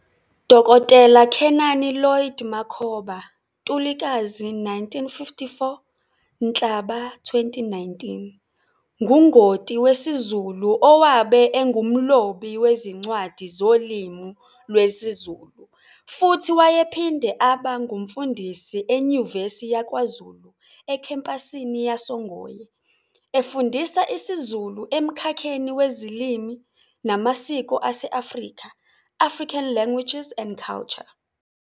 Dkt Khenani Lloyd Makhoba, Ntulikazi 1954 - Nhlaba 2019, ngungoti wesiZulu owabe engumlobi wezincwadi zolimu lwesiZulu futhi wayephinde aba ngumfundisi eNyuvesi yakwaZulu ekhempasini yasoNgoye, efundisa isiZulu emkhakheni weziLimi namaSiko ase-Afrika, "African Languages and Culture".